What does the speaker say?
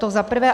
To za prvé.